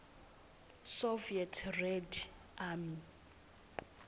soviet red army